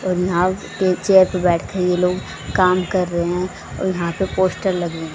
और यहां के चेयर पे बैठे ये लोग काम कर रहे हैं और यहां पे पोस्टर लगे हैं।